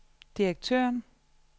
direktøren